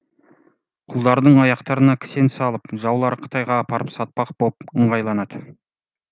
құлдардың аяқтарына кісен салып жаулары қытайға апарып сатпақ боп ыңғайланады